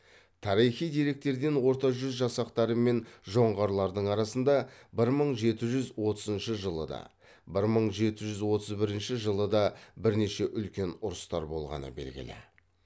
тарихи деректерден орта жүз жасақтары мен жоңғарлардың арасында бір мың жеті жүз отызыншы жылы да бір мың жеті жүз отыз бірінші жылы да бірнеше үлкен ұрыстар болғаны белгілі